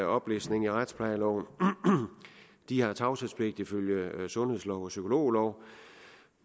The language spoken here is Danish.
oplistning i retsplejeloven de har tavshedspligt ifølge sundhedslov og psykologlov